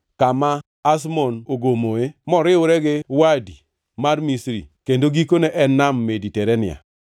kama Azmon ogomoe, moriwre gi Wadi mar Misri kendo gikone en Nam Mediterania.